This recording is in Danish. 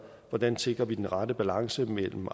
hvordan sikrer vi den rette balance mellem